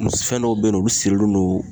Fɛn dɔw be yen nɔ ,olu sirilen don